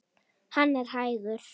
Hann er hægur.